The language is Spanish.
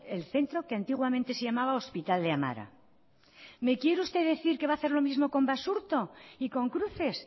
el centro que antiguamente se llamaba hospital de amara me quiere usted decir que va a hacer lo mismo con basurto y con cruces